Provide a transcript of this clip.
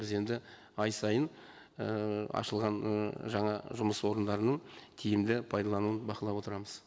біз енді ай сайын ііі ашылған і жаңа жұмыс орындарының тиімді пайдалануын бақылап отырамыз